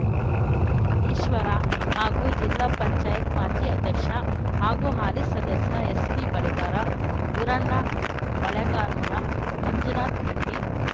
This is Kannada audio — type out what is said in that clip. ಈಶ್ವರ ಹಾಗೂ ಜಿಲ್ಲಾ ಪಂಚಾಯತ್ ಮಾಜಿ ಅಧ್ಯಕ್ಷ ಹಾಗೂ ಹಾಲಿ ಸದಸ್ಯ ಎಸ್ಪಿ ಬಳಿಗಾರ ಗುರಣ್ಣ ಬಳಗಾನೂರ ಮಂಜುನಾಥ ಗಂಟಿ